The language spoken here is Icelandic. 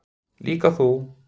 Líka þú.